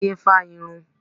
Táyọ́ fá á irun.